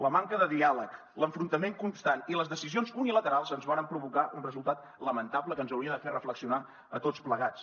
la manca de diàleg l’enfrontament constant i les decisions unilaterals ens varen provocar un resultat lamentable que ens hauria de fer reflexionar a tots plegats